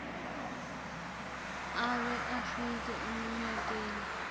abe afike eminyakeni